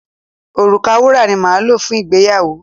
Òrùka wúrà ni máa lò fún ìgbéyàwó.